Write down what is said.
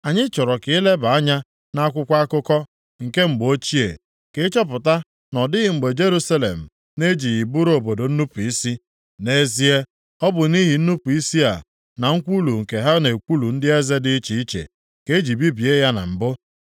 Anyị chọrọ ka i leba anya nʼakwụkwọ akụkọ nke mgbe ochie, ka ị chọpụta na ọ dịghị mgbe Jerusalem na-ejighị bụrụ obodo nnupu isi. Nʼezie, ọ bụ nʼihi nnupu isi a na nkwulu nke ha na-ekwulu ndị eze dị iche iche, ka e ji bibie ya na mbụ.